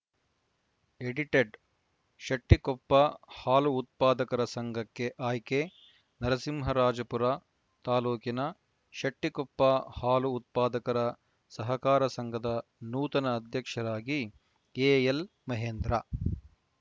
edited Shettikoppa ಹಾಲು ಉತ್ಪಾದಕರ ಸಂಘಕ್ಕೆ ಆಯ್ಕೆ ನರಸಿಂಹರಾಜಪುರ ತಾಲೂಕಿನ ಶೆಟ್ಟಿಕೊಪ್ಪ ಹಾಲು ಉತ್ಪಾದಕರ ಸಹಕಾರ ಸಂಘದ ನೂತನ ಅಧ್ಯಕ್ಷರಾಗಿ ಎಎಲ್‌ ಮಹೇಂದ್ರ